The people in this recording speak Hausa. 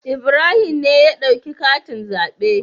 Ibrahim ne ya dauki katin zaɓe.